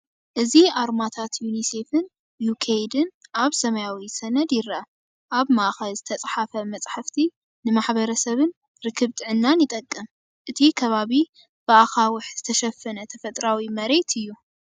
እዚ ኣርማታት ዩኒሴፍን ዩኬይድን ኣብ ሰማያዊ ሰነድ ይርአ። ኣብ ማእከል ዝተጻሕፈ መልእኽቲ ንማሕበረሰብን ርክብ ጥዕናን ይጠቅም። እቲ ከባቢ ብኣኻውሕ ዝተሸፈነ ተፈጥሮኣዊ መሬት እዩ።